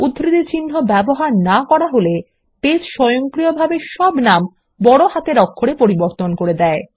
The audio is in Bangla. উদ্ধৃতিচিন্হ ব্যবহার না করা হলে বেস স্বয়ংক্রিয়ভাবে সব নাম বড় হাতের অক্ষরে পরিবর্তন করবে